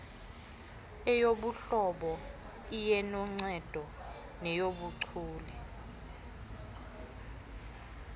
iyeyobuhlobo iyenoncedo nenobuchule